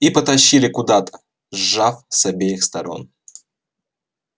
и потащили куда-то сжав с обеих сторон